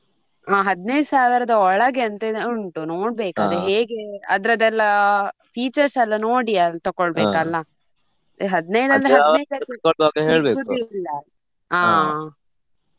ಹಾ ಹದ್ನೈದು ಸಾವಿರದ ಒಳಗೆ ಅಂತ ಹೇಳಿ ಉಂಟು ನೋಡ್ಬೇಕು ಅದ್ ಹೇಗೆ ಅದ್ರದೆಲ್ಲ features ಎಲ್ಲ ನೋಡಿಯೇ ತಗೋಳ್ಬೇಕಲ್ಲ ಹದ್ನೈದು ಅಂದ್ರೆ ಸಿಕ್ಕುದಿಲ್ಲ ಹಾ.